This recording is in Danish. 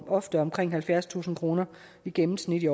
ofte omkring halvfjerdstusind kroner i gennemsnit